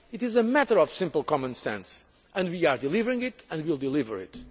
it. It is a matter of simple common sense and we are delivering it and will continue to deliver